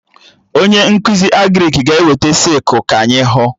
Onye nkụzi Agrịk ga-eweta sịkụl ka anyị hụ